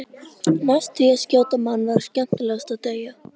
Næst því að skjóta mann var skemmtilegast að deyja.